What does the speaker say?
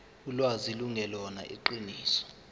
ulwazi lungelona iqiniso